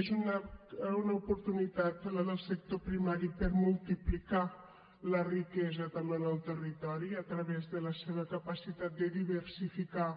és una oportunitat la del sector primari per multiplicar la riquesa també en el territori a través de la seva capacitat de diversificar